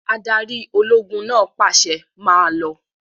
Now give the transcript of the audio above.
Adarí ológun náà pàṣẹ, 'Máa lọ!